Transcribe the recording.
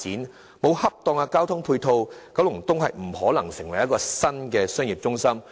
缺乏適當的交通配套，九龍東便無法蛻變成為新的商業中心區。